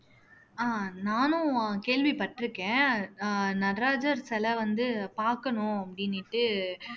ஆஹ் நானும் கேள்விப்பட்டிருக்கேன் ஆஹ் நடராஜர் சிலை வந்து பாக்கணும் அப்படினிட்டு